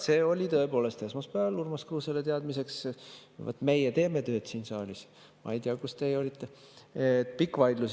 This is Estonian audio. See oli tõepoolest esmaspäeval, Urmas Kruusele teadmiseks – vaat meie teeme tööd siin saalis, ma ei tea, kus teie olite –, pikk vaidlus.